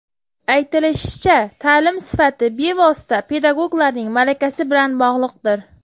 Aytilishicha, ta’lim sifati bevosita pedagoglarning malakasi bilan bog‘liqdir.